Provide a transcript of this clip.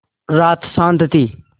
रात शान्त थी